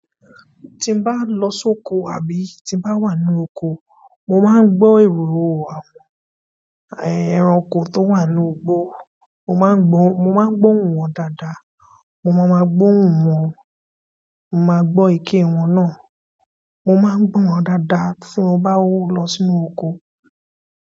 Tí n bá lọ sóko àbí tí n bá wà nu oko, mo máa ń gbọ́ èrò àwọn ẹranko tó wà nu igbó. Mo máa ń gbó, mo máa ń gbóhun wọn dáadáa. Mo máa ma gbóhun wọn, mo máa gbó iké wọn náà. Mo máa ń gbó wọn dáadáa tí mo bá lọ sínú oko.